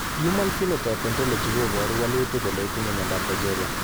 Human Phenotype Ontology koporu wolutik kole itinye Miondap Progeria.